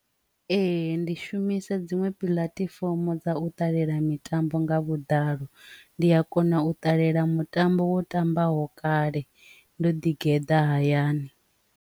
Ee, ndi shumisa dziṅwe puḽatifomo dza u ṱalela mitambo nga vhuḓalo ndi a kona u ṱalela mutambo wo tambaho kale ndo ḓi geḓa hayani.